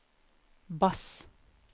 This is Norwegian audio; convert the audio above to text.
bass